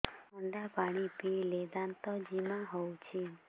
ଥଣ୍ଡା ପାଣି ପିଇଲେ ଦାନ୍ତ ଜିମା ହଉଚି